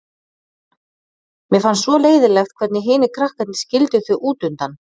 Mér fannst svo leiðinlegt hvernig hinir krakkarnir skildu þau út undan.